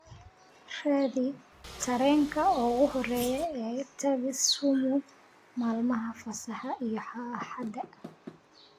raadi tareenka ugu horeeya ee taga Sumu maalmaha fasaxa iyo axada